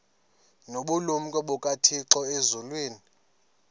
nobulumko bukathixo elizwini